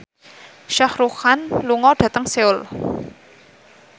Shah Rukh Khan lunga dhateng Seoul